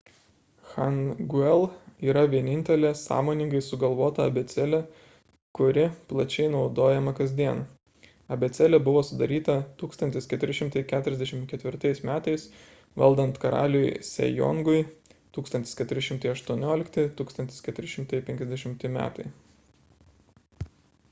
hangeul yra vienintelė sąmoningai sugalvota abėcėlė kuri plačiai naudojama kasdien. abėcėlė buvo sudaryta 1444 m. valdant karaliui sejongui 1418–1450 m.